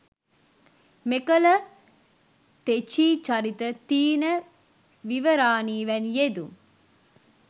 මෙකල තෙචීවරිත, තීන විවරානි වැනි යෙදුම්